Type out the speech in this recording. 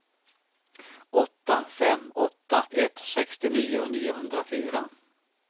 åtta fem åtta ett sextionio niohundrafyra